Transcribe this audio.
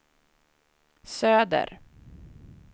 söder